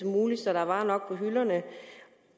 muligt så der er varer nok på hylderne